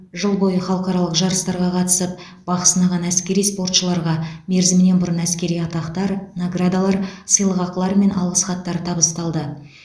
жыл бойы халықаралық жарыстарға қатысып бақ сынаған әскери спортшыларға мерзімінен бұрын әскери атақтар наградалар сыйлықақылар мен алғыс хаттар табысталды